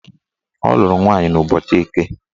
Ọ lụrụ nwaanyị n'ụbọchị Eke